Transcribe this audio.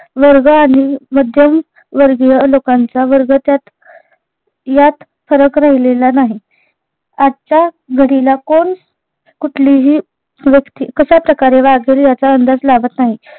वर्ग आणि मध्यम वर्गीय लोकांचा वर्ग त्यात यात फरक राहिलेला नाही. आजच्या घडीला कोण कुठलीही व्यक्ति कश्या प्रकारे वागेल याचा अंदाज लागत नाही